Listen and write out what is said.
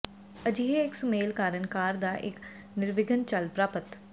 ਅਜਿਹੇ ਇੱਕ ਸੁਮੇਲ ਕਾਰਨ ਕਾਰ ਦਾ ਇੱਕ ਨਿਰਵਿਘਨ ਚੱਲ ਪ੍ਰਾਪਤ